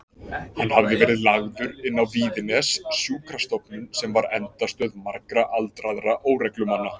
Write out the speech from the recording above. Hann hafði verið lagður inn á Víðines, sjúkrastofnun sem var endastöð margra aldraðra óreglumanna.